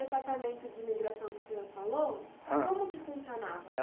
Esse departamento de imigração que o senhor falou. Ham. Como que funcionava?